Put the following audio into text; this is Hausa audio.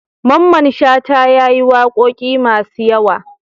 Mamman shata yayi waƙoƙi masu yawa